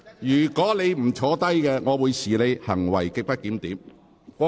如果你不坐下，我會視你為行為極不檢點。